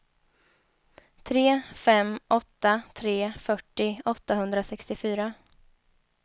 tre fem åtta tre fyrtio åttahundrasextiofyra